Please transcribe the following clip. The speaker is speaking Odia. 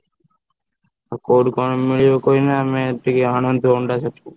ଆଉ କୋଉଠି କଣ ମିଳିବ କହିଲେ ଆମେ ଟିକେ ଆଣନ୍ତୁ ଅଣ୍ଡା ସେଠୁ।